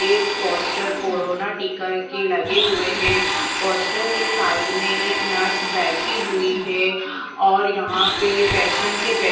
ये poster corona टिका के लगे हुए हैं पोस्टर के साइड में एक नर्स बैठी हुई है और यहाँ पे पेशेंट के बैठ --